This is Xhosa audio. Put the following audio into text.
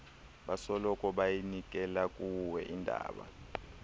basoloko beyinikelakuwe indaba